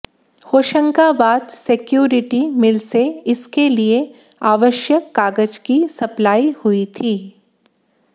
Hoshangabad security mill से इसके लिए आवश्यक कागज की सप्लाई हुई थी